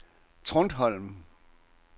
Trundholm